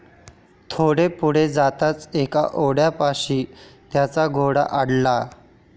थोडे पुढे जाताच एका ओढ्यापाशी त्यांचा घोडा अडला.